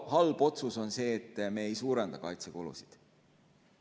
Halb otsus on see, et me ei suurenda kaitsekulusid.